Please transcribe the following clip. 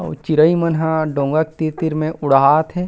अऊ चिरई मन ह डोंगा के तीर-तीर मे उड़ावत हे।